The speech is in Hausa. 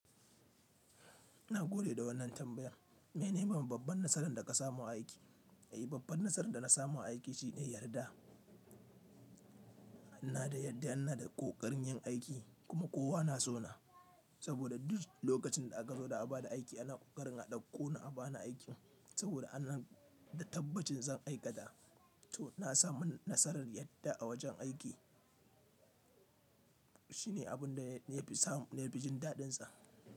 Ina gode da wannan tambayar. Mene ne babban nasaran da ka samu a aiki? Eh, babban nasarar da na samu a aiki shine yarda. Na dai yarda, ina da kokarin yin aiki kuma kowa na so na. Saboda duk lokacin da aka zo da a ba da aiki ana kokarin a ɗauko ni aba ni aikin. Saboda ana da tabbacin zan aikata. To na samu nasarar yarda a wajen aiki. Shine abin da na fi jin daɗinsa.